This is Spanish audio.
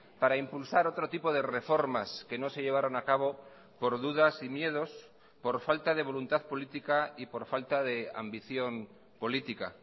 para impulsar otro tipo de reformas que no se llevaron a cabo por dudas y miedos por falta de voluntad política y por falta de ambición política